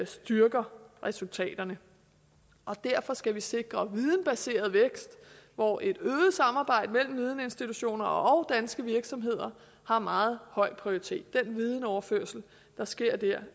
styrker resultaterne og derfor skal vi sikre videnbaseret vækst hvor et øget samarbejde mellem videninstitutioner og danske virksomheder har meget høj prioritet den videnoverførsel der sker dér